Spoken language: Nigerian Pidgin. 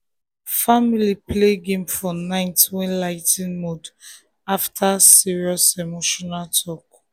family play game for night wey help ligh ten mood after um serious emotional talk.